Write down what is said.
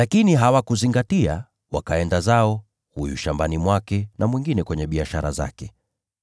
“Lakini hawakuzingatia, wakaenda zao: huyu shambani mwake na mwingine kwenye biashara zake.